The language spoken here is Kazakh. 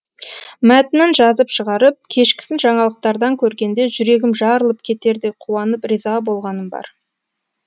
мәтінін жазып шығарып кешкісін жаңалықтардан көргенде жүрегім жарылып кетердей қуанып риза болғаным бар